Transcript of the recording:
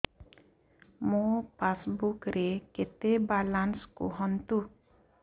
ମୋ ପାସବୁକ୍ ରେ କେତେ ବାଲାନ୍ସ କୁହନ୍ତୁ